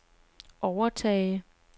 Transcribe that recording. overtage